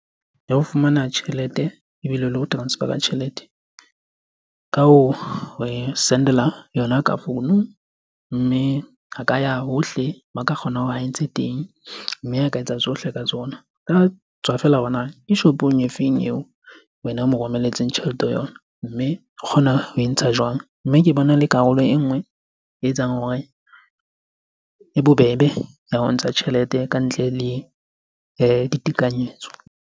Ya ho fumana tjhelete ebile le ho transfer-a tjhelete ka ho e sendela yona ka founu. Mme a ka ya hohle moo a ka kgonang hore ae ntshe teng mme a ka etsa tsohle ka tsona. Tswa feela hore na ke shopong e feng eo wena o mo romelletseng tjhelete ho yona, mme o kgona ho e ntsha jwang? Mme ke bona le karolo e nngwe e etsang hore, e bobebe ya ho ntsha tjhelete ka ntle le ditekanyetso.